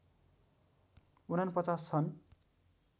४९ छन्